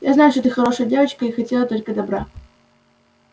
я знаю что ты хорошая девочка и хотела только добра